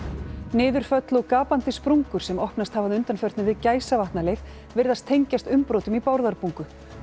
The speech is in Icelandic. niðurföll og gapandi sprungur sem opnast hafa að undanförnu við Gæsavatnaleið virðast tengjast umbrotum í Bárðarbungu